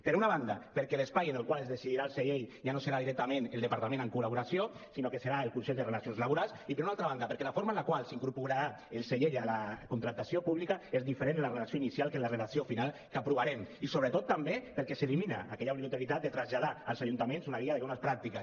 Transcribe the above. per una banda perquè l’espai en el qual es decidirà el segell ja no serà directament el departament en col·laboració sinó que serà el consell de relacions laborals i per una altra banda perquè la forma en la qual s’incorporarà el segell a la contractació pública és diferent en la redacció inicial que en la redacció final que aprovarem i sobretot també perquè s’elimina aquella obligatorietat de traslladar als ajuntaments una guia de bones pràctiques